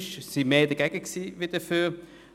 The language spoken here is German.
Es waren mehr dagegen als dafür.